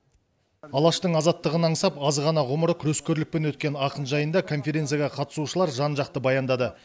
алаштың азаттығын аңсап аз ғана ғұмыры күрескерлікпен өткен ақын жайында конференцияға қатысушылар жан жақты баяндады